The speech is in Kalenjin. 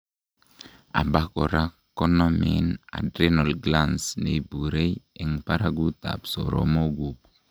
abakora konomen adrenal glands, neiburei en baragut ab soromokguk